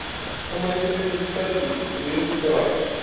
সময় হিসাবে শীতকাল বিবে বিবেচিত হয়